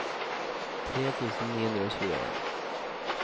tre tusen ni hundre og tjueen